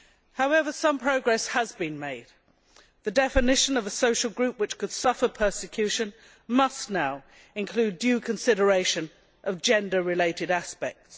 However, some progress has been made. The definition of a social group which could suffer persecution must now include due consideration of gender related aspects.